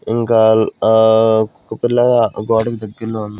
ఇంకా ఆ కుక్కపిల్ల ఆ గోడకి దగ్గర్లో ఉం--